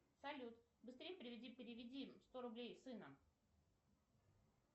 салют быстрей переведи переведи сто рублей сына